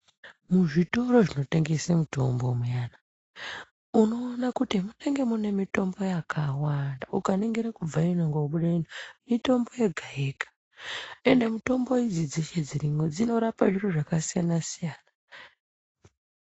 Muzvitoro munotengesa mitombo muyana unoona kuti mune mitombo yakawanda inorapa zvakasiyana siyana. Ukaningire kubve ino kobude ino munenge mune mitombo yakawanda uye mitombo dzeshe dzirimwo dzinorape zviro zvakasiyana siyana